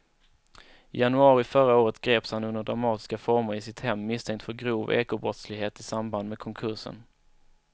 I januari förra året greps han under dramatiska former i sitt hem misstänkt för grov ekobrottslighet i samband med konkursen.